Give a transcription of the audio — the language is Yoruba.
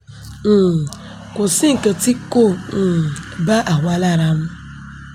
um kò sí nǹkan tí kò um bá àwa lára mu